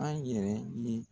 An yɛrɛ ye